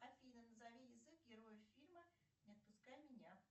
афина назови язык героев фильма не отпускай меня